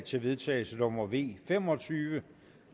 til vedtagelse nummer v fem og tyve